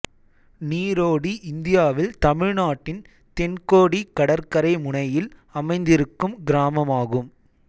நீரோடி இந்தியாவில் தமிழ்நாட்டின் தென்கோடி கடற்கரை முனையில் அமைந்திருக்கும் கிராமமாகும்